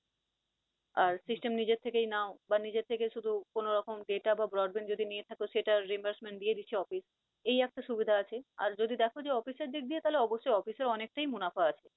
আর system নিজের থেকেই নাও বা নিজের থেকেই শুধু কোন রকম data বা broadband যদি নিয়ে থাকো সেটার reimbursement দিয়ে দিচ্ছে অফিস। এই একটা সুবিধা আছে, যদি দেখ যে অফিস এর দিক দিয়ে তাহলে অবশ্যই অফিসের অনেক টাই মুনাফা আছে।